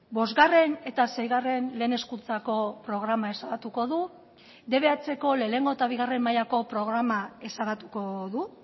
bosgarren eta seigarren lehen hezkuntzako programa ezabatuko du dbhko lehenengo eta bigarren mailako programa ezabatuko du